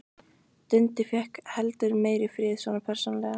Dundi fékk heldur meiri frið, svona persónulega.